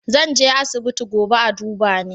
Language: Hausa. Zan je asibiti gobe a duba ni